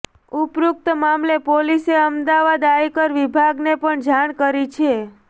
ઉપરોક્ત મામલે પોલીસે અમદાવાદ આયકર વિભાગને પણ જાણ કરી છે